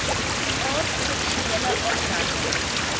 aard seksuele aanranding